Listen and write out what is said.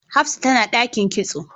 Hafsat tana dakin kitso